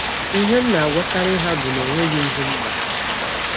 Ihe m na - agwakarị ha bụ na ọ nweghị ihe m mere.